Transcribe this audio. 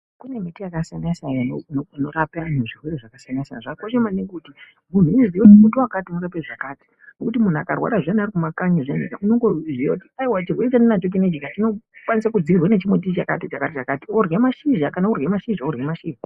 Kune mbiti yakasiyana siyana inorapa antu zvirwere zvakasiyana siyana, zvakakosha maningi kuti muntu uziye kuti muti wakati unorape zvakati ngekuti muntu ukarwara zviyani uri kumakanyi unongoziya kuti aiwa chirwere chandinacho chinechi chinokwanisa kudzivirirwa nechimuti chakati chakati worye mashizha kana kuri kurye mashizha worye mashizha.